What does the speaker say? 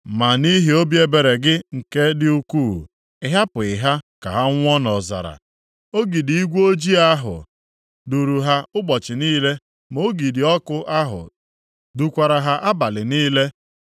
“Ma nʼihi obi ebere gị nke dị ukwuu, ị hapụghị ha ka ha nwụọ nʼọzara. Ogidi igwe ojii ahụ duuru ha ụbọchị niile, ma ogidi ọkụ ahụ dukwara ha abalị niile.